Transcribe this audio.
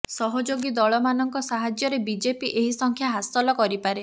ସହଯୋଗୀ ଦଳମାନଙ୍କ ସାହାଯ୍ୟରେ ବିଜେପି ଏହି ସଂଖ୍ୟା ହାସଲ କରିପାରେ